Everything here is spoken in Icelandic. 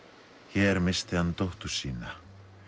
hér missti hann dóttur sína